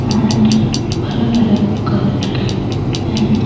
And अलग-अलग colour के हैं।